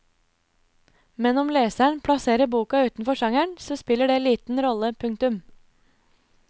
Men om leseren plasserer boka utenfor sjangeren så spiller det liten rolle. punktum